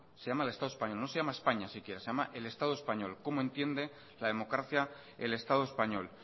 se llama el estado español no se llama españa siquiera se llama el estado español cómo entiende la democracia el estado español